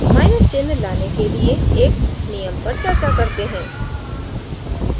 minus चिन्ह लाने के लिए एक नियम पर चर्चा करते हैं